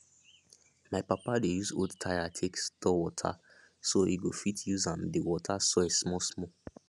my papa dey use old tire take store water so e go fit use am dey water soil small small